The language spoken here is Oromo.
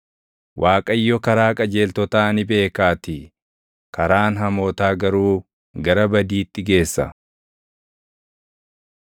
Waaqayyo karaa qajeeltotaa ni beekaatii; karaan hamootaa garuu gara badiitti geessa.